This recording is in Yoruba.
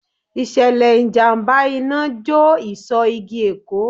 Ìṣẹ̀lẹ̀ ìjàmbá Iná jó ìsò igi Èkó.